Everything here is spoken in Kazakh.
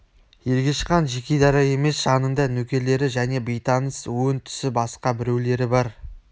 ергеш хан жеке-дара емес жанында нөкерлері және бейтаныс өң-түсі басқа біреулері бар